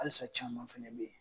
alisa caman fɛnɛ be ye